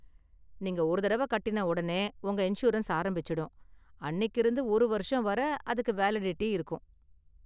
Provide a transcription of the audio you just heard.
நீங்க ஒரு தடவ கட்டின உடனே உங்க இன்சூரன்ஸ் ஆரம்பிச்சுடும், அன்னிக்கு இருந்து ஒரு ​வருஷம் வரை அதுக்கு வேலிடிட்டி இருக்கும்.